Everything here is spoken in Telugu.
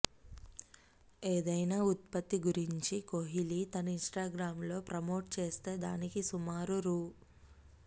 ఏదైనా ఉత్పత్తి గురించి కోహ్లీ తన ఇనిస్టాగ్రామ్లో ప్రమోట్ చేస్తే దానికి సుమారు రూ